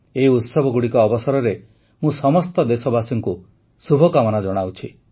ଏହି ଉତ୍ସବଗୁଡ଼ିକ ଅବସରରେ ମୁଁ ସମସ୍ତ ଦେଶବାସୀଙ୍କୁ ଶୁଭକାମନା ଜଣାଉଛି